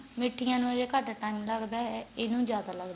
ਮਿਠੀਆਂ ਨੂੰ ਘੱਟ time ਲੱਗਦਾ ਇੰਨੁ ਜਿਆਦਾ ਲੱਗਦਾ